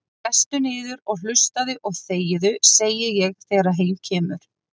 Sestu niður og hlustaðu og þegiðu, segi ég þegar heim kemur.